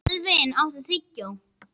Elvin, áttu tyggjó?